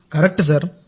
అవును సార్